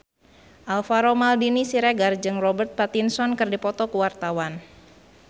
Alvaro Maldini Siregar jeung Robert Pattinson keur dipoto ku wartawan